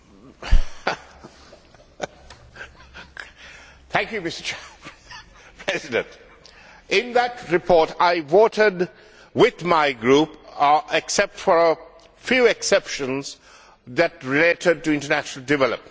Mr President, in that report I voted with my group, except for a few exceptions which related to international development, because I did not believe that we should